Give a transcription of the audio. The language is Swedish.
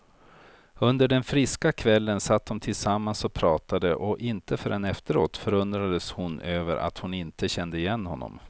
Under den friska kvällen satt de tillsammans och pratade, och inte förrän efteråt förundrades hon över att hon inte kände igen honom.